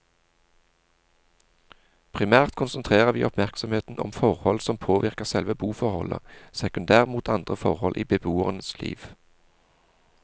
Primært konsentrerer vi oppmerksomheten om forhold som påvirker selve boforholdet, sekundært mot andre forhold i beboerens liv.